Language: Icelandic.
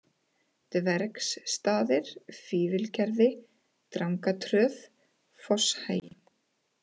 Dvergsstaðir, Fífilgerði, Drangatröð, Fosshagi